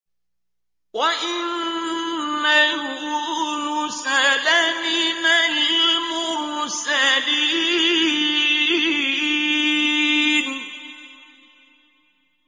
وَإِنَّ يُونُسَ لَمِنَ الْمُرْسَلِينَ